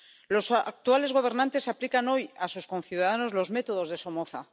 Los actuales gobernantes aplican hoy a sus conciudadanos los métodos de Somoza